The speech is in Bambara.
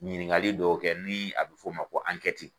Ɲininkali dɔw kɛ ni a bɛ fɔ o ma ko